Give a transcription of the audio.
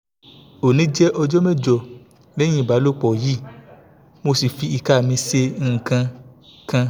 oni je ọjọ́ mẹ́jọ lẹ́yìn ìbálòpọ̀ yi mo si fi ika mi ṣe nǹkan kan